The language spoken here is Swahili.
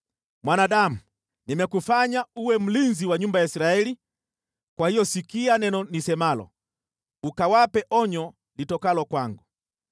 “Mwanadamu, nimekufanya uwe mlinzi wa nyumba ya Israeli, kwa hiyo sikia neno nisemalo, ukawape onyo litokalo kwangu.